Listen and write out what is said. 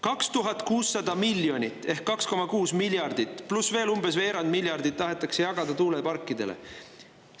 2600 miljonit ehk 2,6 miljardit pluss veel umbes veerand miljardit tahetakse jagada tuuleparkidele.